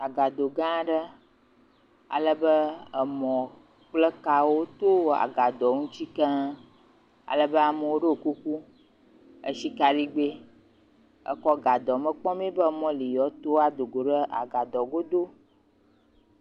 Agado gã aɖe, alebe emɔ kple kawo to agadoa ŋuti keŋ, alebe amewo ɖo kuku esi kaɖigbe ekɔ le agadoa me kpɔm be emɔ li yewoato ado ɖe agadoa go do.